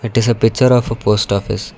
this is a picture of a post office.